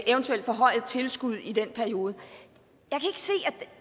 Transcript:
eventuelt forhøjet tilskud i den periode